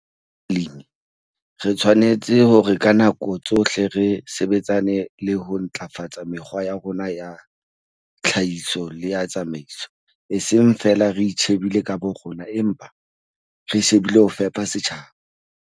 Re le balemi re tshwanetse hore ka nako tsohle re sebetsane le ho ntlafatsa mekgwa ya rona ya tlhahiso le ya tsamaiso, eseng feela re itjhebile ka borona, empa re shebile ho fepa setjhaba.